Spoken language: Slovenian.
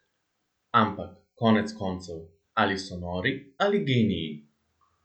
Ampak, konec koncev, ali so nori ali geniji?